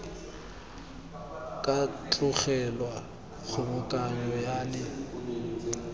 ka tlogelwa kgobokanyo ya le